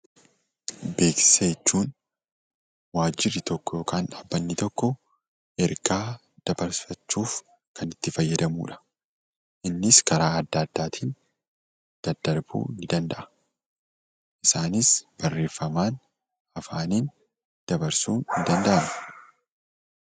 Beeksisa jechuun waajirri tokko yookaan dhaabbanni tokko ergaa dabarfachuuf kan itti fayyadamudha. Innis karaa adda addaatiin daddarbuu danda'a isaanis barreeffamaan afaaniin dabarsuun ni danda'ama.